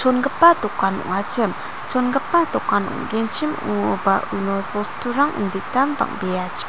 chongipa dokan ong·achim chongipa dokan ong·genchim ong·oba uno bosturang inditan bang·beachi--